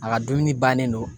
A ka dumuni bannen don